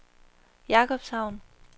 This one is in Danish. Jakobshavn